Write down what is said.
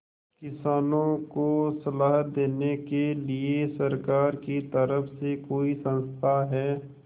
किसानों को सलाह देने के लिए सरकार की तरफ से कोई संस्था है